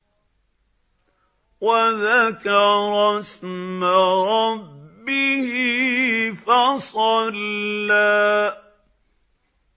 وَذَكَرَ اسْمَ رَبِّهِ فَصَلَّىٰ